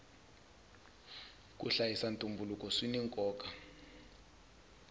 ku hlayisa ntumbuluko swina nkoka